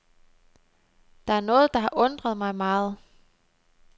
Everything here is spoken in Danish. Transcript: Der er noget, der har undret mig meget.